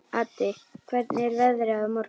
Addi, hvernig er veðrið á morgun?